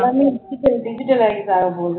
எல்லாமே digitalize ஆக போகுது